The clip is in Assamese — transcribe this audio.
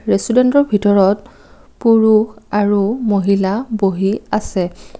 ৰেষ্টুৰেণ্টৰ ভিতৰত পুৰুষ আৰু মহিলা বহি আছে।